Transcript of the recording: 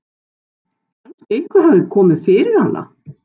Kannski hafði eitthvað komið fyrir hana.